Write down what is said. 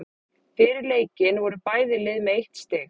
Fyrir leikinn voru bæði lið með eitt stig.